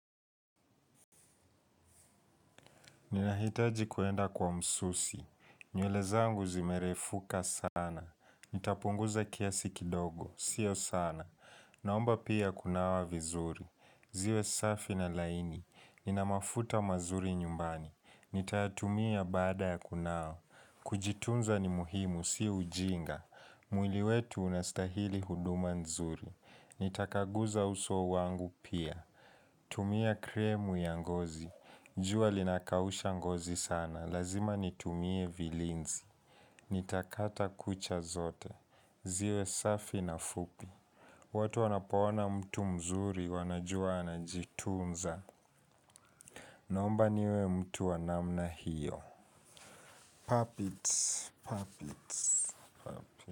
Ninahitaji kwenda kwa msusi. Nywele zangu zimerefuka sana. Nitapunguza kiasi kidogo. Sio sana. Naomba pia kunawa vizuri. Ziwe safi na laini. Ninamafuta mazuri nyumbani. Nitayatumia baada ya kunawa. Kujitunza ni muhimu. Sio ujinga. Mwili wetu unastahili huduma nzuri. Nitakaguza uso wangu pia. Kutumia kremu ya ngozi. Jua linakausha ngozi sana. Lazima nitumie vilinzi. Nitakata kucha zote. Ziwe safi na fupi. Watu wanapoona mtu mzuri wanajua anajitunza. Naomba niwe mtu wanamna hiyo. Puppets. Puppets.